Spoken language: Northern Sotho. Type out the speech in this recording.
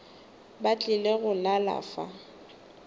ba tlile go lala fa